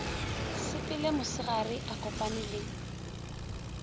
sepele mosegare a kopane le